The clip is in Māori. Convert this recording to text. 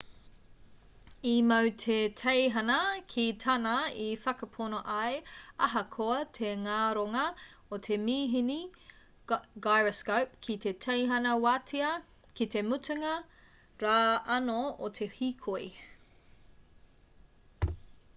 i mau te teihana ki tāna i whakapono ai ahakoa te ngaronga o te mīhini gyroscope ki te teihana wātea ki te mutunga rā anō o te hīkoi